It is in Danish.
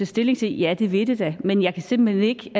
stilling til ja det vil det da men jeg kan simpelt hen